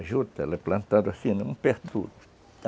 A juta, ela é plantada assim, não perturba